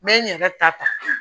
N bɛ n yɛrɛ ta